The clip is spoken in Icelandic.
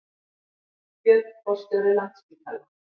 Björn forstjóri Landspítala